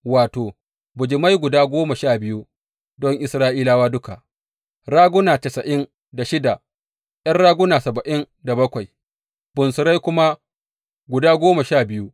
Wato, bijimai guda goma sha biyu don Isra’ilawa duka, raguna tasa’in da shida, ’yan raguna saba’in da bakwai, bunsurai kuma guda goma sha biyu.